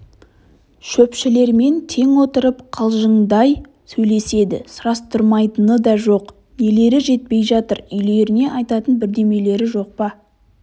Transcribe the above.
шөпшілермен тең отырып қалжыңдай сөйлеседі сұрастырмайтыны да жоқ нелері жетпей жатыр үйлеріне айтатын бірдемелері жоқ па